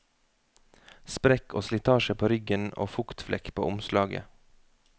Sprekk og slitasje på ryggen og fuktflekk på omslaget.